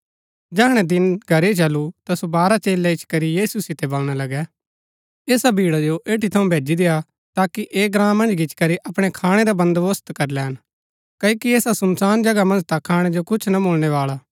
जैहणै दिन घरही चलु ता सो बारह चेलै इच्ची करी यीशु सितै बलणा लगै ऐसा भीड़ा जो एठी थऊँ भेजी देय्आ ताकि ऐह ग्राँ मन्ज गिच्ची करी अपणै खाणै रा बन्‍दोबस्त करी लैन क्ओकि ऐसा सुनसान जगहा मन्ज ता खाणै जो कुछ ना मुळनै बाळा